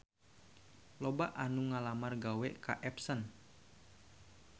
Loba anu ngalamar gawe ka Epson